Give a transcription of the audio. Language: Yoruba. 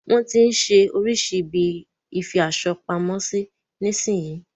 Wọn tí ń ṣe oríṣirísi ibi ìfi aṣo pamo sí nísin yí.